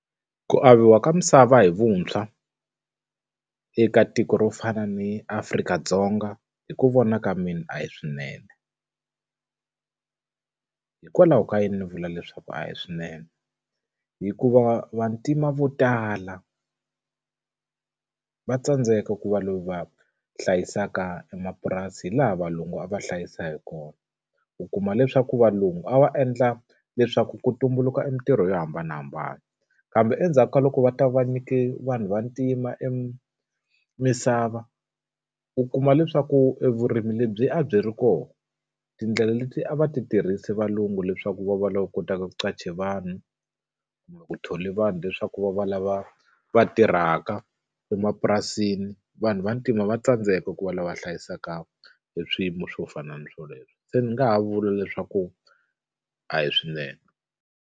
Ku averiwa ka misava hi vuntshwa, eka tiko ro fana ni Afrika-Dzonga hi ku vona ka mina a hi swinene hikwalaho ka yini ni vula leswaku a hi swinene? Hikuva vantima vo tala va tsandzeka ku va va hlayisaka emapurasi hi laha valungu a va hlayisa hi kona. U kuma leswaku valungu a va endla leswaku ku tumbuluka emitirho yo hambanahambana, kambe endzhaku ka loko va ta va va nyike vanhu vantima e misava, u kuma leswaku evurimi lebyi a byi ri kona, tindlela lebyi a va ti tirhisi valungu leswaku va va lava kotaka ku qasha vanhu, ku thola vanhu leswaku va va lava va tirhaka emapurasini, vanhu vantima va tsandzeka ku va lava va hlayisaka hi eswiyimo swo fana na swoleswo. Se ni nga ha vula leswaku a hi swinene.